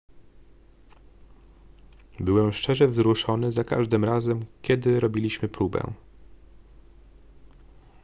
byłem szczerze wzruszony za każdym razem kiedy robiliśmy próbę